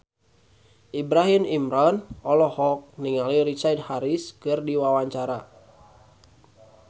Ibrahim Imran olohok ningali Richard Harris keur diwawancara